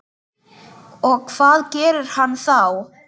Og hvað gerir hann þá?